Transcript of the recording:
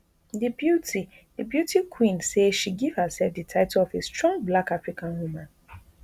di beauty di beauty queen say she give hersef di title of a strong black african woman